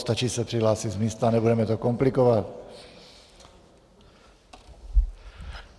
Stačí se přihlásit z místa, nebudeme to komplikovat.